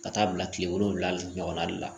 Ka taa bila kile wolonwula ɲɔgɔn na